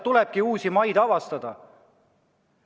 Tulebki uusi maid avastada!